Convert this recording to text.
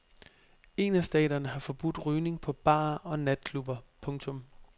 En af staterne har forbudt rygning på barer og natklubber. punktum